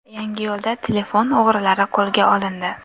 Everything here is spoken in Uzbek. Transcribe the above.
Yangiyo‘lda telefon o‘g‘rilari qo‘lga olindi.